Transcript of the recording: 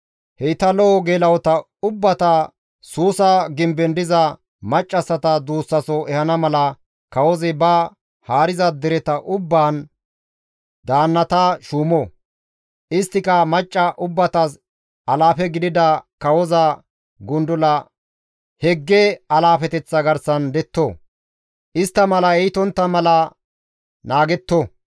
Heyta lo7o geela7ota ubbata Suusa gimben diza maccassata duussaso ehana mala, kawozi ba haariza dereta ubbaan daannata shuumo; isttika macca ubbatas alaafe gidida kawoza gundula Hegge alaafeteththa garsan detto; istta malay iitontta mala naagetto.